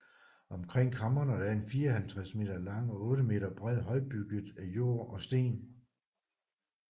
Omkring kamrene er en 54 m lang og 8 m bred høj bygget af jord og sten